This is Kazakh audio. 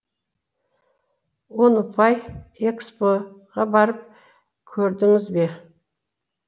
он ұпай экспо ға барып көрдіңіз бе